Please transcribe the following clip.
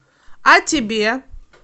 а тебе